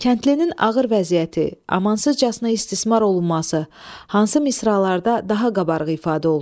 Kəndlinin ağır vəziyyəti, amansızcasına istismar olunması hansı misralarda daha qabarıq ifadə olunub?